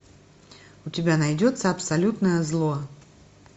у тебя найдется абсолютное зло